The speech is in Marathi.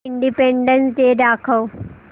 इंडिपेंडन्स डे दाखव